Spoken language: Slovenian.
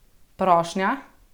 Prošnja?